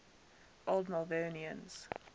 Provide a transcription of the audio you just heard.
old malvernians